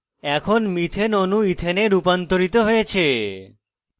এখন methane methane অণু ethane ethane এ রূপান্তরিত হয়েছে